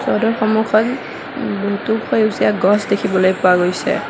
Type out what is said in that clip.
ঘৰটোৰ সন্মুখত উম বহুতো সেউজীয়া গছ দেখিবলৈ পোৱা গৈছে।